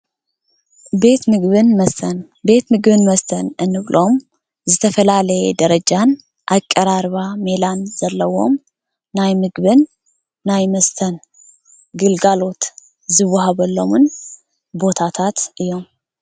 ቤት ምግብን መስተን፦ ቤት ምግብን መስተን እንብሎም ዝተፈላለየ ደረጃን ኣቀራርባ ሜላን ዘለዎም ናይ ምግብን ናይ መስተን ግልጋሎት ዝወሃበሎምን ቦታታት እዮም።